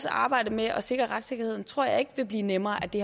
arbejdet med at sikre retssikkerheden tror jeg ikke vil blive nemmere af det